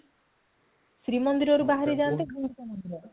ଶ୍ରୀ ମନ୍ଦିର ରୁ ବାହାରି ଯାନ୍ତି